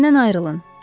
Məndən ayrılın.